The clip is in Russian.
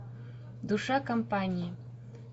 душа компании